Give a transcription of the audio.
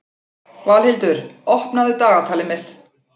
Valhildur, opnaðu dagatalið mitt.